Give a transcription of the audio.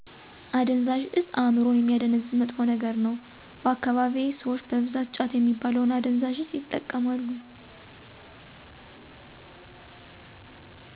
አደንዛዥ እፆ አእምሮን የሚያደነዝዝ መጥፎ ነገር ነው። በአካባቢዬ ስዎች በብዛት ጫት የሚባለውን አደንዛዥ እፆ ይጠቀማሉ።